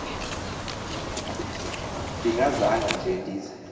ndingazanga nje ndize